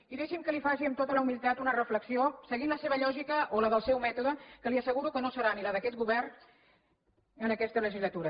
i deixi’m que li faci amb tota la humilitat una reflexió seguint la seva lògica o la del seu mètode que li asseguro que no serà la d’aquest govern en aquesta legislatura